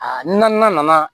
Aa na nana